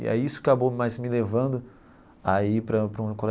E aí isso acabou mais me levando a ir para para um